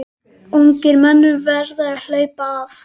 Ungir menn verða að HLAUPA AF